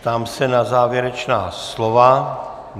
Ptám se na závěrečná slova.